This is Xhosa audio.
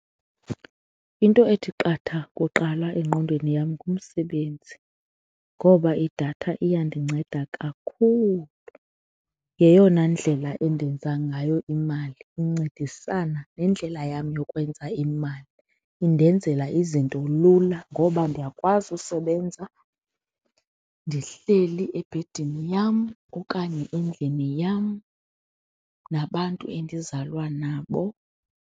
Into ethi qatha kuqala engqondweni yam ngumsebenzi ngoba idatha iyandinceda kakhulu, yeyona ndlela endenza ngayo imali incedisana nendlela yam yokwenza imali. Indenzela izinto lula ngoba ndiyakwazi usebenza ndihleli ebhedini yam okanye endlini yam nabantu endizalwa nabo.